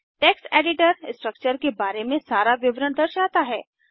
text editor structure के बारे में सारा विवरण दर्शाता है